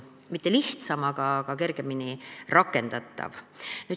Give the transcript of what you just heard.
See ei olnud lihtsam, aga see oli kergemini rakendatav.